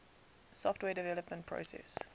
software development process